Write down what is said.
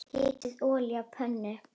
Hitið olíu á pönnu.